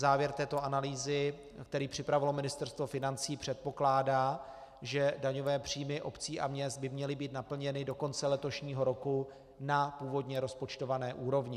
Závěr této analýzy, který připravilo Ministerstvo financí, předpokládá, že daňové příjmy měst a obcí by měly být naplněny do konce letošního roku na původně rozpočtované úrovni.